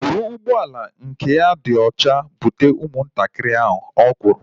Bụrụ ụgbọala nke agba ya dị olaocha bute ụmụ ntakịrị ahu! Ọ kwụrụ